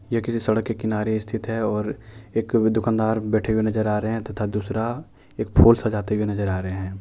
ये किसी सड़क के किनारे स्थित है और एक दुकानदार बैठे हुए नजर आ रहे हैं तथा दूसरा एक फूल सजाते हुए नजर आ रहे हैं।